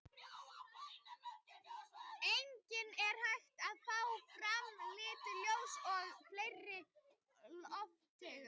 Einnig er hægt að fá fram lituð ljós með fleiri lofttegundum.